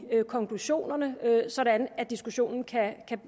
konklusionerne sådan at diskussionen kan